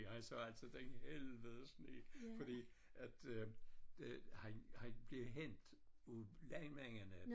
Jeg sagde altid den helvede sne fordi at øh det han han blev hentet af landmændene